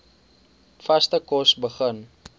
vaste kos begin